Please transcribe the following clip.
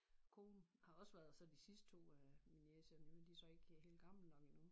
Kone har også været så de sidste 2 af mine af min niece og nevø de så ikke helt gamle nok endnu